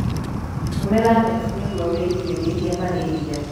Tũmĩra neti nĩguo wĩgirĩrĩrie malaria.